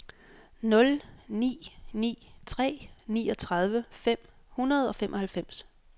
nul ni ni tre niogtredive fem hundrede og femoghalvfems